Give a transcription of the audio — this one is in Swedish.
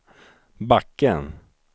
backen